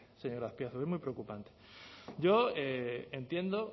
señor azpiazu es muy preocupante yo entiendo